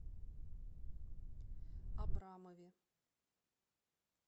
абрамове